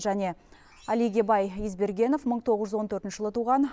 және алигебай избергенов мың тоғыз жүз он төртінші жылы туған